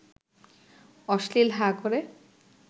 অশ্লীল হাঁ ক’রে